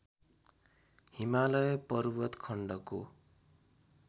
हिमालय पर्वत खण्डको